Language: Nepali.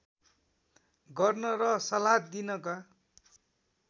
गर्न र सल्लाह दिनका